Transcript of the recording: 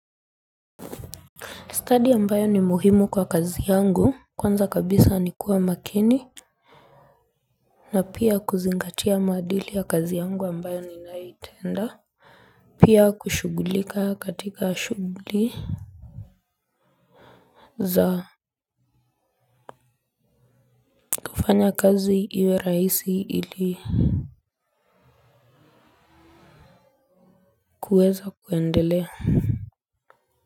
Stadi ambayo ni muhimu kwa kazi yangu kwanza kabisa nikuwa makini. Na pia kuzingatia maadili ya kazi yangu ambayo ninaitenda. Pia kushughulika katika shughuli za kufanya kazi iwe rahisi ili kuweza kuendelea.